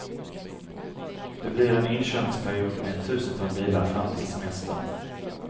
Det blir en inkörningsperiod med ett tusental bilar fram till semestern.